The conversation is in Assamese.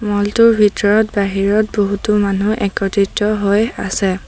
মল টোৰ ভিতৰত বাহিৰত বহুতো মানুহ একত্ৰিত হৈ আছে।